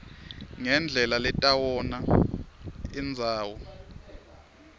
ngendlela letawona indzawo